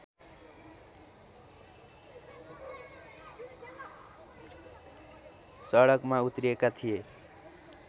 सडकमा उत्रिएका थिए